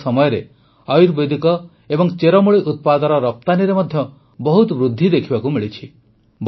ବିଗତ ସମୟରେ ଆୟୁର୍ବେଦିକ ଏବଂ ଚେରମୂଳି ଉତ୍ପାଦର ରପ୍ତାନୀରେ ମଧ୍ୟ ବହୁତ ବୃଦ୍ଧି ଦେଖିବାକୁ ମିଳିଛି